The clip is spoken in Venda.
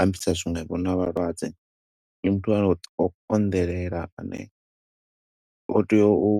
ambisa zwiṅwevho na vhalwadze. Ndi muthu a, o u konḓelela ane o tea u